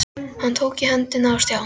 Hann tók í hendina á Stjána.